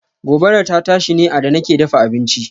Gobarar ta tashi ne a da nake dafa abinci.